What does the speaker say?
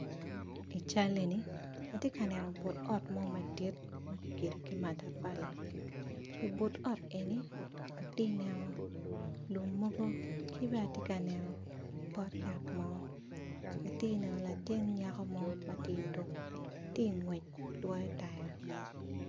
I cal eni atye ka neno but ot mo madit makigedo ki matapali i but ot eni atineno lum mogo kibene atye ka neno pot yat mo atye neno latin nyaka mo matye tuku ki ngwec dwoyo taya.